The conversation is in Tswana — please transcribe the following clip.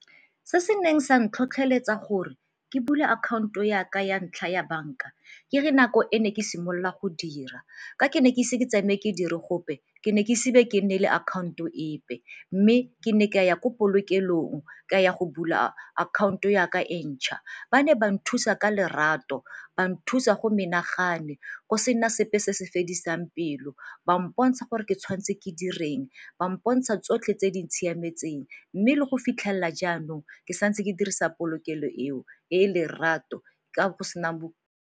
Se se neng sa ntlhotlheletsa gore ke bule akhaonto ya ka ya ntlha ya banka ke re nako e ne ke simolola go dira ka ke ne ke ise ke tsenwe ke dire gope ke ne ke ise be ke nne le account-o epe. Mme ke ne ke a ya ko polokelong ke a ya go bula akhaonto ya ka e ntšha, ba ne ba nthusa ka lerato, ba nthusa go menagane, go sena sepe se se fediseng pelo. Ba mpontsha gore ke tshwanetse ke direng, ba mpontsha tsotlhe tse di siametseng mme le go fitlhelela jaanong ke sa ntse ke dirisa polokelo eo e e lerato ka go sena .